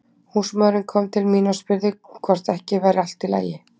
Húsmóðirin kom til mín og spurði hvort ekki væri allt í lagi.